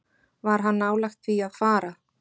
Var hann nálægt því að fara?